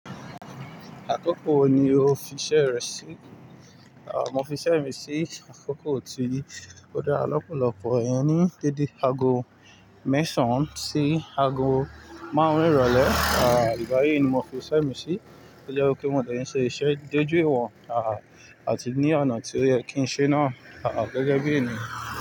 Àkókò wo ni o fi iṣẹ́ rẹ sí? Mo fi iṣẹ́ mi sí àkókò tí ó dára lọ́pọ̀lọpọ̀, iyen ni dédé aago mẹ́sàn án sí aago márùn-ún ìrọ̀lẹ́. À igbayi ni mo fi iṣẹ́ mi sí. Ó jẹ́ wipe mo de ṣe iṣẹ́ déjú ìwọ̀n àti ní ọ̀nà tí ó yẹ kí n ṣe náà gẹ́gẹ́ bí ènìyàn.